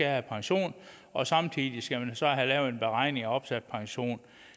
have pension og samtidig skal man så have lavet en beregning over opsat pension